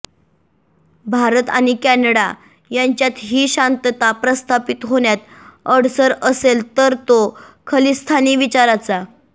भारत आणि कॅनडा यांच्यात ही शांतता प्रस्थापित होण्यात अडसर असेल तर तो खलिस्तानी विचाराचा